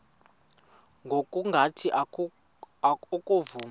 ngokungathi oko wavuma